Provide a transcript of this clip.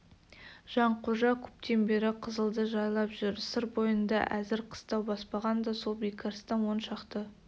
жанқожа көптен бері қызылды жайлап жүр сыр бойында әзір қыстау баспаған да сол бекарыстан он шақты